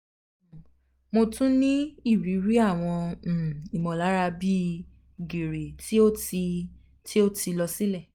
um mo tun ni iriri awọn um imọlara bi um giri ti o ti ti o ti lọ silẹ